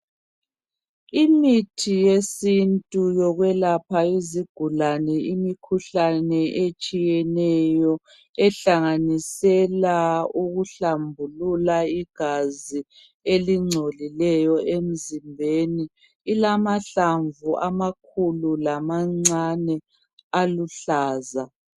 Imithi yesintu yokwelapha izigulane imikhuhlane etshiyeneyo ehlanganisela ukuhlambulula igazi elingcolileyo emzimbeni .Ilamahlamvu amakhulu lamancane aluhlaza.